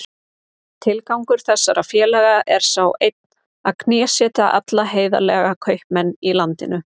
Tilgangur þessara félaga er sá einn að knésetja alla heiðarlega kaupmenn í landinu.